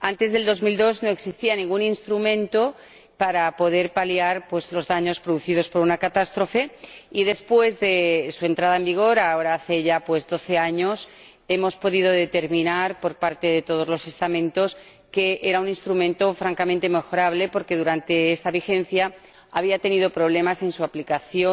Antes de 2002 no existía ningún instrumento para poder paliar los daños producidos por una catástrofe y, después de su entrada en vigor, ahora hace ya doce años, hemos podido determinar, por parte de todos los estamentos, que era un instrumento francamente mejorable porque durante esta vigencia había tenido problemas en su aplicación,